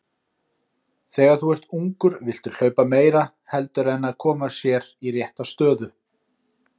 Þegar þú ert ungur viltu hlaupa meira heldur en að koma sér í rétta stöðu.